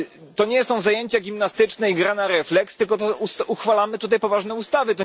To nie są zajęcia gimnastyczne i gra na refleks, tylko uchwalamy tutaj poważne ustawy.